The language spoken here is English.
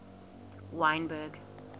wynberg